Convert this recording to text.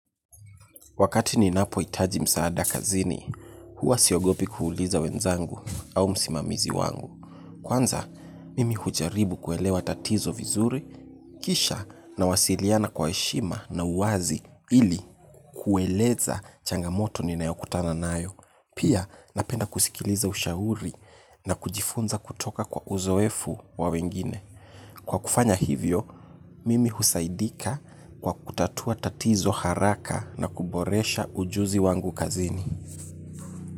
Wakati ninapo itaji msaada kazini, huwa siogopi kuuliza wenzangu au msimamizi wangu. Kwanza, mimi hujaribu kuelewa tatizo vizuri, kisha nawasiliana kwa heshima na uwazi ili kueleza changamoto ninayokutana nayo. Pia, napenda kusikiliza ushauri na kujifunza kutoka kwa uzoefu wa wengine. Kwa kufanya hivyo, mimi husaidika kwa kutatua tatizo haraka na kuboresha ujuzi wangu kazini.